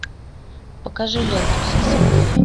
покажи ленту все святые